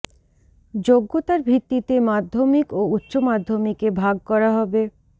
যোগ্যতার ভিত্তিতে মাধ্যমিক ও উচ্চ প্রাথমিকে ভাগ করা হবে